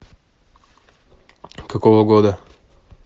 какого года